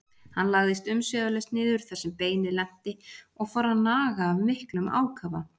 Hann lagðist umsvifalaust niður þar sem beinið lenti og fór að naga af miklum ákafa.